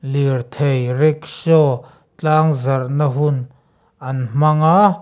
lirthei rikshaw tlangzarhna hun an hmang a.